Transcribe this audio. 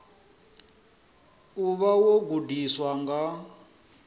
u vha wo gudiwa nga